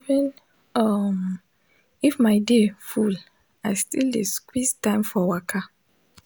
even um if my day full i still dey squeeze time for waka